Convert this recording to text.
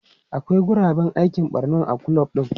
Akwai guraben aikin barman a kulob din.